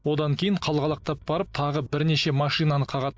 одан кейін қалғалақтап барып тағы бірнеше машинаны қағады